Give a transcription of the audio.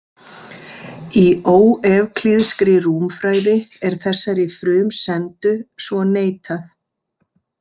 Í óevklíðskri rúmfræði er þessari frumsendu svo neitað.